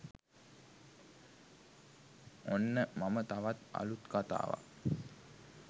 ඔන්න මම තවත් අලුත් කතාවක්